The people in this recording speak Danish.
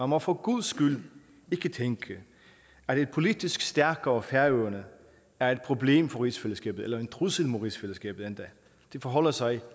må for guds skyld ikke tænke at et politisk stærkere færøerne er et problem for rigsfællesskabet eller endda en trussel mod rigsfællesskabet det forholder sig